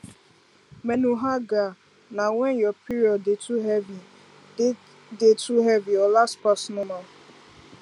menorrhagia na when your period dey too heavy dey too heavy or last pass normal